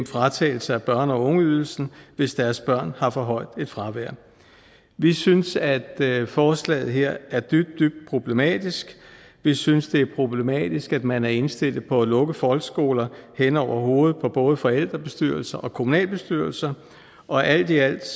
fratagelse af børne og ungeydelsen hvis deres børn har et for højt fravær vi synes at forslaget her er dybt dybt problematisk vi synes det er problematisk at man er indstillet på at lukke folkeskoler hen over hovedet på både forældrebestyrelser og kommunalbestyrelser og alt i alt